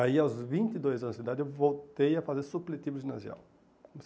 Aí, aos vinte e dois anos de idade, eu voltei a fazer supletivo ginasial.